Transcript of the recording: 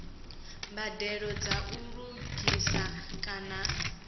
mbadelo dza u lugisa kana